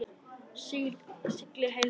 Sigldu heill.